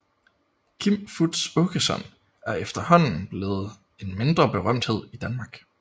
Kim Fupz Aakeson er efterhånden blevet en mindre berømthed i Danmark